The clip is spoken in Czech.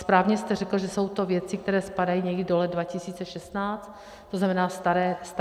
Správně jste řekl, že jsou to věci, které spadají někdy do let 2016, to znamená starého data.